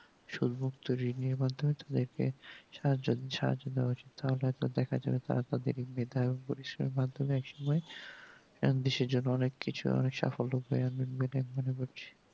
সুবুক্ত ঋণের মাধ্যমে তাদেরকে সাহায্য দিয়া উচিত তাহলে হয়তো দেখা যাই তারা তাদের মেধার মাধ্যমে এক সময় কম বেশি জন অনেক কিছু অনেক সাফল্য পেয়ে